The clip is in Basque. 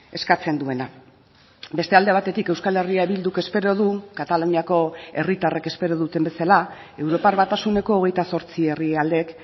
eskatzen duena beste alde batetik euskal herria bilduk espero du kataluniako herritarrek espero duten bezala europar batasuneko hogeita zortzi herrialdek